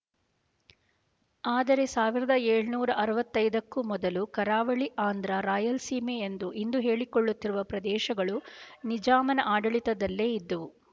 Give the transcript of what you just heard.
ಆದರೆ ಸಾವಿರದ ಏಳನೂರ ಅರವತ್ತೈ ದಕ್ಕೂ ಮೊದಲು ಕರಾವಳಿ ಆಂಧ್ರ ರಾಯಲಸೀಮ ಎಂದು ಇಂದು ಹೇಳಿಕೊಳ್ಳುತ್ತಿರುವ ಪ್ರದೇಶಗಳು ನಿಜಾಮನ ಆಡಳಿತದಲ್ಲೇ ಇದ್ದವು